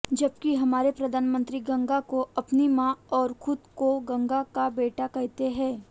जबकि हमारे प्रधानमंत्री गंगा को अपनी मां और खुद को गंगा का बेटा कहते हैं